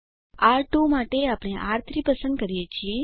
R two માટે આપણે આર3 પસંદ કરીએ છીએ